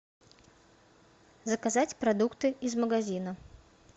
заказать продукты из магазина